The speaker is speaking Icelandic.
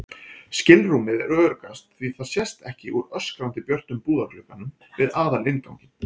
skilrúmið er öruggast því það sést ekki úr öskrandi björtum búðarglugganum við aðalinnganginn.